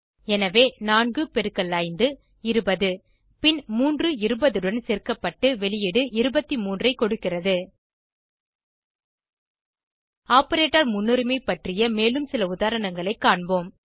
எனவே நான்கு பெருக்கல் ஐந்து இருபது பின் மூன்று இருபதுடன் சேர்க்கப்பட்டு வெளியீடு 23 ஆக கொடுக்கிறது ஆப்பரேட்டர் முன்னுரிமை பற்றிய மேலும் சில உதாரணங்களை காண்போம்